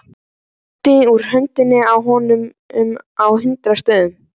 Það blæddi úr honum á hundrað stöðum.